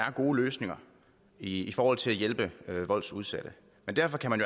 er gode løsninger i forhold til at hjælpe voldsudsatte men derfor kan man